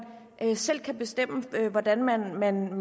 kan selv bestemme hvordan man man